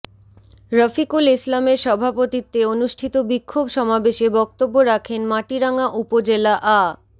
রফিকুল ইসলামের সভাপতিত্বে অনুষ্ঠিত বিক্ষোভ সমাবেশে বক্তব্য রাখেন মাটিরাঙ্গা উপজেলা আ